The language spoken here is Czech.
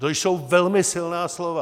To jsou velmi silná slova.